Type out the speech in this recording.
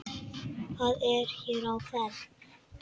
Hvað er hér á ferð?